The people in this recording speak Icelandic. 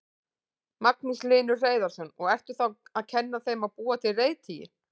Magnús Hlynur Hreiðarsson: Og ertu þá að kenna þeim að búa til reiðtygi?